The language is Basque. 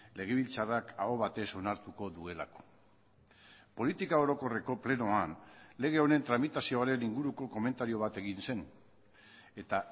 legebiltzarrak aho batez onartuko duelako politika orokorreko plenoan lege honen tramitazioaren inguruko komentario bat egin zen eta